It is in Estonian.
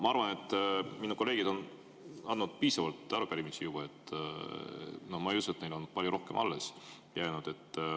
Ma arvan, et minu kolleegid on üle andnud juba piisavalt arupärimisi, ma ei usu, et neil on palju rohkem alles jäänud.